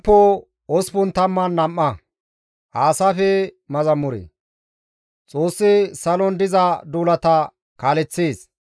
Xoossi salon diza duulata kaaleththees; xoossati ubbay shiiqiin istta bolla pirdishe,